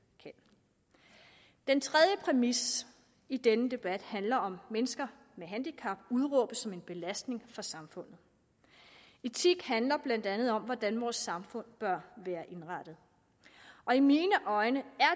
kan den tredje præmis i denne debat handler om mennesker med handicap udråbt som en belastning for samfundet etik handler blandt andet om hvordan vores samfund bør være indrettet i mine øjne er